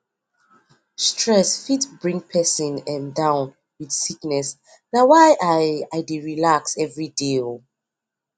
stress fit bring persin um down with sickness na why i i dey relax everyday um